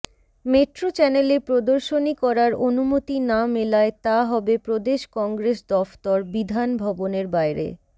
metro চ্যানেলে প্রদর্শনী করার অনুমতি না মেলায় তা হবে প্রদেশ কংগ্রেস দফতর বিধান ভবনের বাইরে